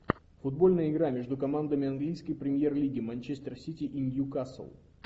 футбольная игра между командами английской премьер лиги манчестер сити и ньюкасл